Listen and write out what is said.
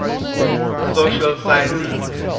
social sciences